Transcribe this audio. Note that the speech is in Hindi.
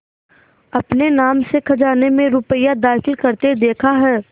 अपने नाम से खजाने में रुपया दाखिल करते देखा है